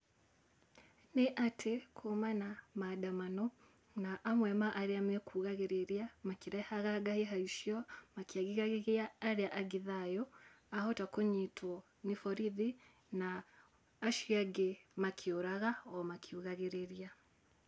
Nĩ atĩ, kũma na maandamano, na amwe ma arĩa me kugagĩrĩria, makĩrehaga ngahĩha icio makĩagithagia arĩa angĩ thayũ, ahota kũnyitwo nĩ borithi na acio angĩ makĩũraga makiugagĩrĩria.